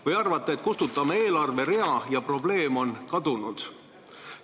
Kas te arvate, et kustutame eelarverea, ja probleem on kadunud?